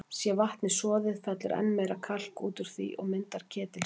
Sé vatnið soðið, fellur enn meira kalk út úr því og myndar ketilstein.